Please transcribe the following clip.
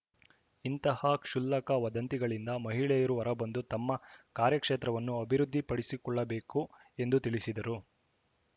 ಇಂತಹ ಕ್ಷುಲ್ಲಕ ವದಂತಿಗಳಿಂದ ಮಹಿಳೆಯರು ಹೊರಬಂದು ತಮ್ಮ ಕಾರ್ಯ ಕ್ಷೇತ್ರವನ್ನು ಅಭಿವೃದ್ಧಿಪಡಿಸಿಕೊಳ್ಳಬೇಕು ಎಂದು ತಿಳಿಸಿದರು